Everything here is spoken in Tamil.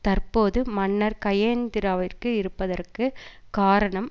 தற்போது மன்னர் கயனேந்திராவிற்கு இருப்பதற்கு காரணம்